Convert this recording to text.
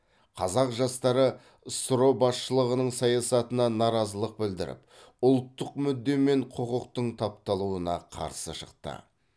қазақ жастары ссро басшылығының саясатына наразылық білдіріп ұлттық мүдде мен құқықтың тапталуына қарсы шықты